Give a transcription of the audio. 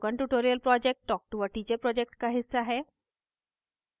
spoken tutorial project talktoa teacher project का हिस्सा है